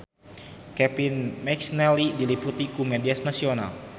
Kevin McNally diliput ku media nasional